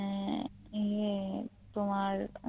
উম তোমার